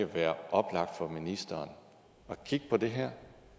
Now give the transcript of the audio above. være oplagt for ministeren at kigge på det her